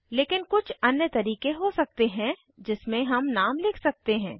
लेकिन कुछ अन्य तरीके हो सकते हैं जिसमें हम नाम लिख सकते हैं